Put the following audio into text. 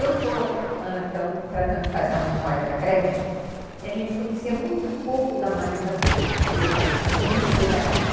Eu estou, então, tratando de fazer a memória da creche, e a gente conhecia muito pouco da Madre Camila, porque a gente não conheceu ela, né?